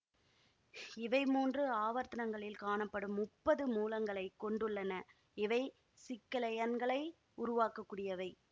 இவை மூன்று ஆவர்த்தனங்களில் காணப்படும் முப்பது மூலங்களைக் கொண்டுள்ளன இவை சிக்கலயன்களை உருவாக்கக்கூடியவை